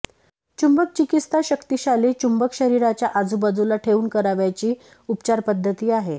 चुंबक चिकित्सा शक्तिशाली चुंबक शरीराच्या आजूबाजूला ठेवून करावयाची उपचारपद्धती आहे